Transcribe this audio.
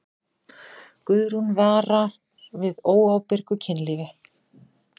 Guðrún vara við óábyrgu kynlífi.